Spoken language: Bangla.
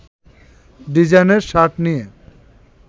ডিজাইনের শার্ট নিয়ে